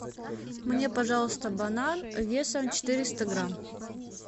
мне пожалуйста банан весом четыреста грамм